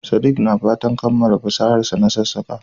Sadik na fatan kammala fasaharsa na sassaƙa.